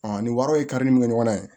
ni wariw ye karili min kɛ ɲɔgɔn na